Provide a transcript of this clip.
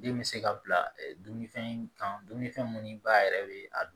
Den bɛ se ka bila dumunifɛn kan dumuni fɛn minnu ba yɛrɛ bɛ a dun